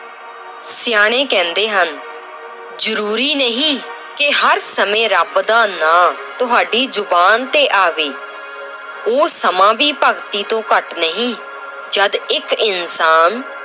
ਸਿਆਣੇ ਕਹਿੰਦੇ ਹਨ ਜ਼ਰੂਰੀ ਨਹੀਂ ਕਿ ਹਰ ਸਮੇਂ ਰੱਬ ਨਾਂ ਤੁਹਾਡੀ ਜ਼ੁਬਾਨ ਤੇ ਆਵੇ ਉਹ ਸਮਾਂ ਵੀ ਭਗਤੀ ਤੋਂ ਘੱਟ ਨਹੀਂ ਜਦ ਇੱਕ ਇਨਸਾਨ